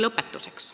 Lõpetuseks.